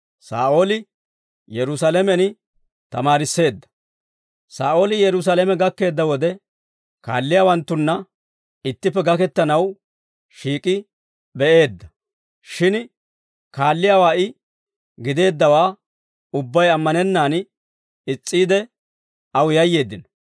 Saa'ooli Yerusaalame gakkeedda wode, kaalliyaawanttunna ittippe gakettanaw shiik'i be'eedda; shin kaalliyaawaa I gideeddawaa ubbay ammanennaan is's'iide, aw yayyeeddino.